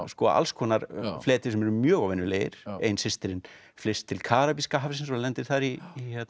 alls konar fleti sem eru mjög óvenjulegir ein systirin flyst til Karabíska hafsins og lendir þar í